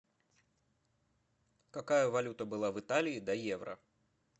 какая валюта была в италии до евро